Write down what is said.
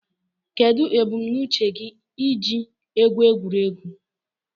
Kedụ ebumnuche gị iji egwu egwuregwu?